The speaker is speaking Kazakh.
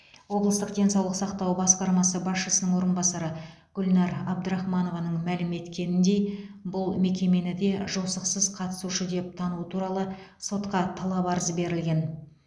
облыстық денсаулық сақтау басқармасы басшысының орынбасары гүлнәр әбдірахманованың мәлім еткеніндей бұл мекемені де жосықсыз қатысушы деп тану туралы сотқа талап арыз берілген